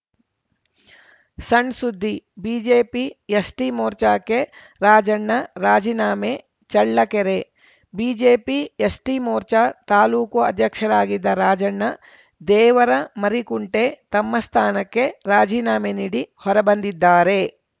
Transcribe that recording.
ಸಣ್‌ಸುದ್ದಿ ಬಿಜೆಪಿ ಎಸ್ಟಿಮೋರ್ಚಾಕ್ಕೆ ರಾಜಣ್ಣ ರಾಜಿನಾಮೆ ಚಳ್ಳಕೆರೆ ಬಿಜೆಪಿ ಎಸ್ಟಿಮೋರ್ಚಾ ತಾಲೂಕು ಅಧ್ಯಕ್ಷರಾಗಿದ್ದ ರಾಜಣ್ಣ ದೇವರಮರಿಕುಂಟೆ ತಮ್ಮ ಸ್ಥಾನಕ್ಕೆ ರಾಜೀನಾಮೆ ನೀಡಿ ಹೊರ ಬಂದಿದ್ದಾರೆ